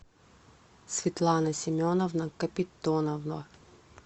светлана семеновна капитонова